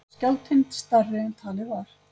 Skjálftinn stærri en talið var